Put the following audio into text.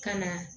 Ka na